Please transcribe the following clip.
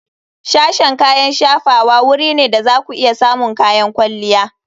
Sashen kayan shafawa wuri ne da za ku iya samun kayan kwalliya.